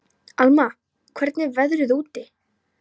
Alma, hvernig er veðrið úti?